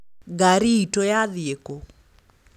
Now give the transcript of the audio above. Ngari itũ yathiĩ kũ?